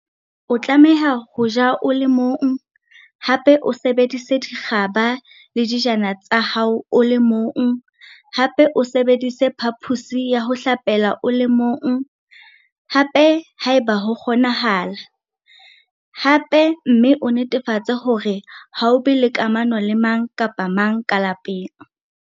O tlameha ho ja o le mong, o sebedise dikgaba le dijana tsa hao o le mong, o sebedise phaphosi ya ho hlapela o le mong, haeba ho kgonahala, mme o netefatse hore ha o be le kamano le mang kapa mang ka lapeng.